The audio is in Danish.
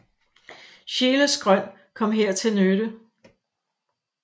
Scheeles grøn kom her til nytte